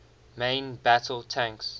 main battle tanks